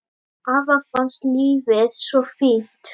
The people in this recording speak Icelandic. Afa fannst lífið svo fínt.